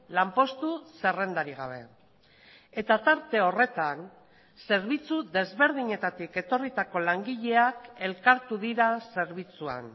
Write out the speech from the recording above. lanpostu zerrendarik gabe eta tarte horretan zerbitzu desberdinetatik etorritako langileak elkartu dira zerbitzuan